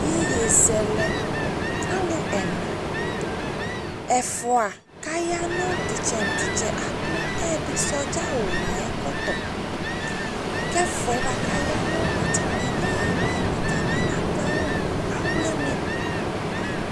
Iyeyezɛlɛ Alʋ ɛna Ɛfʋa aya nʋ tʋ ɩtsɛ nʋ tʋ ɩtsɛ Adʋ ɛyɛdɩ sɔdza awʋ nʋ ayʋ ɛkɔtɔ kʋ ɛfʋa yɛ kʋ aya nʋ atamɩ ɩɩlɩ yɛ atanɩ adʋ awʋ mʋ awlɩnɩ